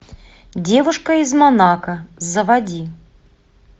девушка из монако заводи